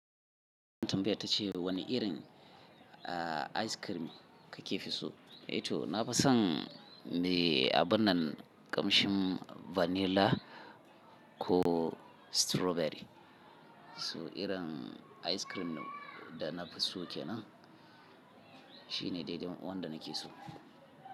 Tumbaya ce wani irin aice kirim ka ke fi so? Eh to na fi son me a binnan kamshin vanilla ko strawberry. Su irin ice cream da na fi so kenan. Shi ne dai-dai wanda na ke so.